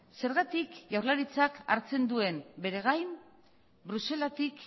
zergatik jaurlaritzak hartzen duen bere gain bruselatik